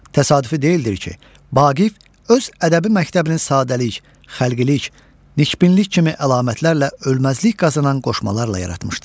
Təsadüfi deyildir ki, Vaqif öz ədəbi məktəbini sadəlik, xəlqilik, nikbinlik kimi əlamətlərlə ölməzlik qazanan qoşmalarla yaratmışdır.